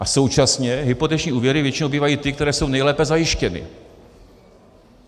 A současně hypoteční úvěry většinou bývají ty, které jsou nejlépe zajištěny.